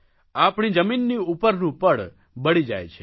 આપણી જમીનની ઉપરનું પડ બળી જાય છે